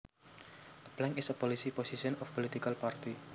A plank is a policy position of a political party